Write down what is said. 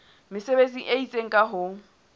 mesebetsi e itseng ka ho